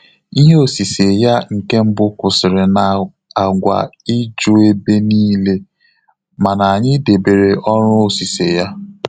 Ihe osise ya nke mbụ kwụsịrị na agwa iju ebe niile, mana anyị debere ọrụ osise ya.